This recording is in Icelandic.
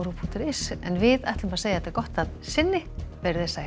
punktur is en við segjum þetta gott að sinni veriði sæl